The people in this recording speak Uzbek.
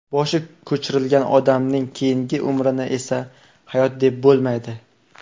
Boshi ko‘chirilgan odamning keyingi umrini esa hayot deb bo‘lmaydi.